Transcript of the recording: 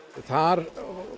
þar